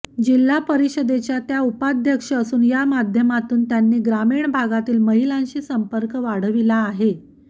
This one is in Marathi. जिल्हा परिषदेच्या त्या उपाध्यक्ष असून या माध्यमातून त्यांनी ग्रामीण भागातील महिलांशी संपर्क वाढविला आहे